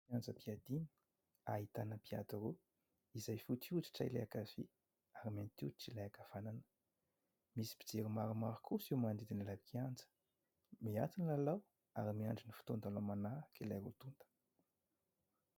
kianjam-piadina ahitana mpiady roa izay fotsy hoditra ilay ankavia ary mainty hoditra ilay ankavanana. Misy mpijery maromaro kosa eo amin'ny manodidina ilay kianja. Miato ny lalao ary miandry ny fotoan- dalao manaraka ilay roa tota.